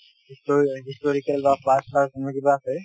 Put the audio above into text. হিষ্টো historical বা park চাৰ্ক এনেকুৱা কিবা আছে